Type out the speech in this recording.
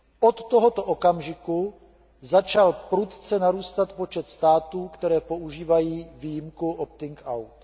Od tohoto okamžiku začal prudce narůstat počet států, které používají výjimku opting out.